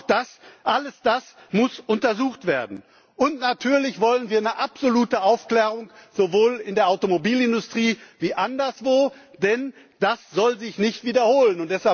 Auch das, alles das muss untersucht werden. Und natürlich wollen wir absolute Aufklärung, sowohl in der Automobilindustrie als auch anderswo, denn das soll sich nicht wiederholen.